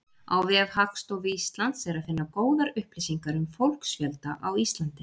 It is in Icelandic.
Á vef Hagstofu Íslands er að finna góðar upplýsingar um fólksfjölda á Íslandi.